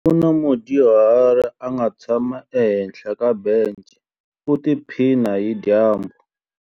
Ku na mudyuhari a nga tshama ehenhla ka bence u tiphina hi dyambu.